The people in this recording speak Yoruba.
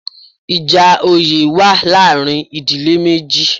Ìjà oyè wa láàrin ìdílé méjì